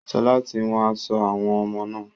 Sọlá tí wón aṣọ àwọn ọmọ náà.